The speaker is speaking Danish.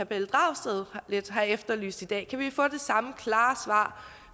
pelle dragsted lidt har efterlyst i dag kan vi få det samme klare svar